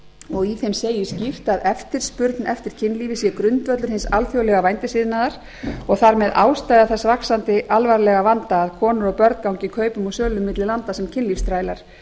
og í þeim segir skýrt að eftirspurn eftir kynlífi sé grundvöllur hins alþjóðlega vændisiðnaðar og þar með ástæða þess vaxandi alvarlega vanda að konur og börn gangi kaupum og sölum milli landa sem kynlífsþrælar